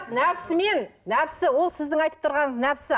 нәпсі мен нәпсі ол сіздің айтып тұрғаныңыз нәпсі